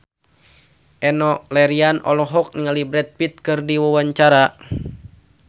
Enno Lerian olohok ningali Brad Pitt keur diwawancara